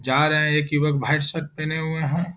जा रहे है एक युवक व्हाइट शर्ट पहने हुए है।